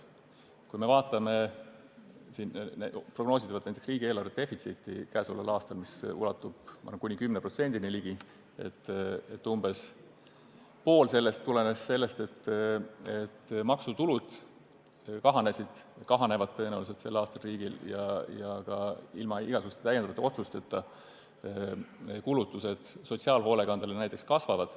Kui vaatame näiteks käesolevaks aastaks prognoositavat riigieelarve defitsiiti, mis ulatub, ma arvan, kuni 10%-ni, siis umbes pool sellest tuleneb sellest, et riigi maksutulud sel aastal tõenäoliselt kahanevad ja ilma igasuguste täiendavate otsusteta sotsiaalhoolekandele tehtavad kulutused näiteks kasvavad.